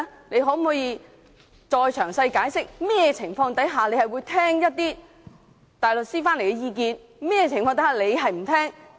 你可否詳細解釋，你會在甚麼情況下聽從外聘大律師的意見，甚麼情況下不聽從？